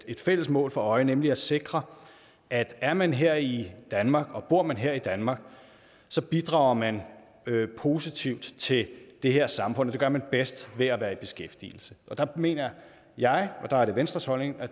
et fælles mål for øje nemlig at sikre at er man her i danmark og bor man her i danmark så bidrager man positivt til det her samfund og det gør man bedst ved at være i beskæftigelse og der mener jeg og der er det venstres holdning at